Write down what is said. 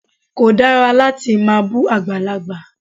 Kò dára láti máa bú àgbàlagbà.